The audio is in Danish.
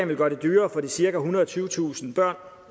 vil gøre det dyrere for de cirka ethundrede og tyvetusind børn